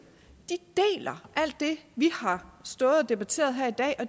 deler alt det vi har stået og debatteret her i dag